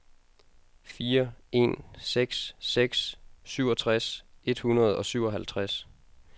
fire en seks seks syvogtres et hundrede og syvoghalvtreds